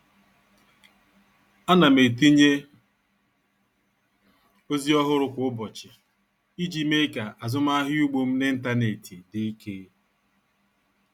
A na m etinye ozi ọhụrụ kwa ụbọchị iji mee ka azụmahịa ugbo m n'ịntanetị dị ike.